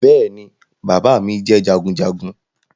Bẹ́ẹ̀ ni bàbá mi jẹ́ jagunjagun